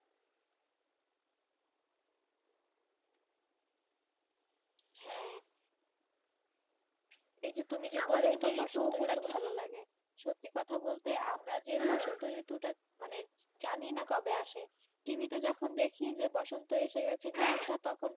হ্যাঁ এই যে সত্যি কথা বলতে আমরা যে যানিনা কবে আসে tivi যখন দেখি বসন্ত তা তখন